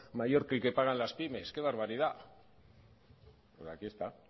mayor que el que pagan las pymes que barbaridad pero aquí está aquí